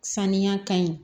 Saniya ka ɲi